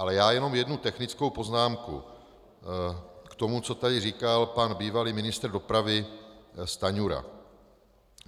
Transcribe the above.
Ale já jenom jednu technickou poznámku k tomu, co tady říkal pan bývalý ministr dopravy Stanjura.